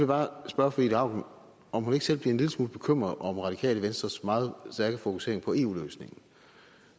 bare spørge fru ida auken om hun ikke selv bliver en lille smule bekymret over radikale venstres meget stærke fokusering på eu løsningen